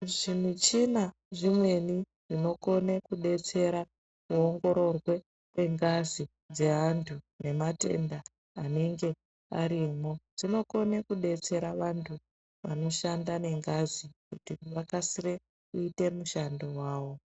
Zvimichina zvimweni zvinokone kudetsera kuongororw kwengazi dzeantu nematenda anenge arimwo dzinokone kudetsera vantu vanoshanda nengazi kuti vakasire kuita mushando wavo.